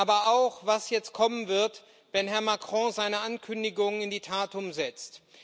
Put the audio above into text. Aber auch was jetzt kommen wird, wenn Herr Macron seine Ankündigungen in die Tat umsetzt.